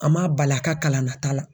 A ma bali a ka kalan na ta la.